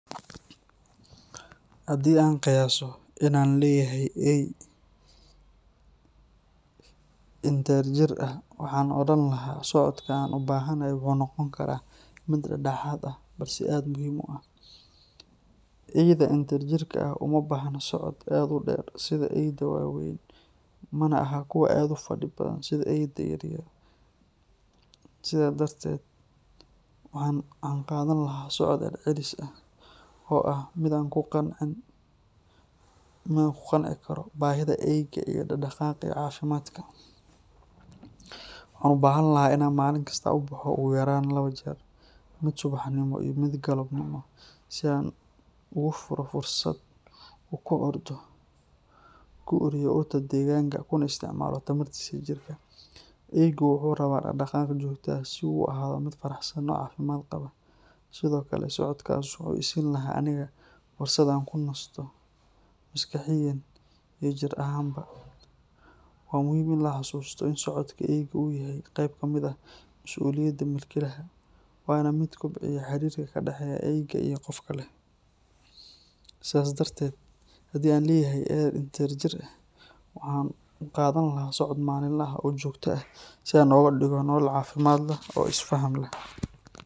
Hadii aan qiyaso inan leyahay eey inte jeer aah waxan oraan lahaa socodkan u bahanahay wuxu noqon kara miid daxdaxaad aah, balse aad muhim u aah. Eeyda intaa jeer ka aah uma baahna socod aad u dheer sidaa eeyda wa weyn manaa ahaa kuwa aad ufaadhi badan sidaa eeyda yaryar . Sidas darted waxan qadan lahaa socod celcelis aah oo aah midaan ku qanciin manaa ku qancii karo baahida eeyga iyo daqdaqaqa cafimadka. Waxan u bahan lahaa inan maalin kasta u baxo ugu yaraan laapo jeer miid subaxnimo iyo miid galapnimo, sii aan u furo fursaad u ku ordo ku oreye urta deganka kuna isticmaalo tambarta sii jirta. Eeygu wuxu raapa daqdaqaq jogta aah sii u ahaado miid faraxsan oo cafimad qapaa sdkle socodkaas wuxu isiin lahaa aniga fursaad aan ku naasto maskaxiyaan iyo jiir ahaanba. Waa muhim iin la xasusto iin socodku eeyga u yahay qayp kamid aah masuliyada mulkilahaa. Wana miid kobciyaa xirirka ka daxeyo eeyga iyo qofka leh. Sidaas darted haadi aan leyahay eey inta jeer aah waxan u qadaan lahaa socod malin laha oo jogta aah sii aan uga dhigo nolol cafimad leh oo isfaham leh.